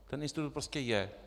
Ten institut prostě je.